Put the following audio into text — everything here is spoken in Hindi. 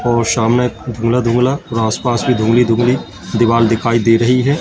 और सामने धुंधला धुंधला और आसपास भी धुंधली धुंधली दीवार दिखाई दे रही है।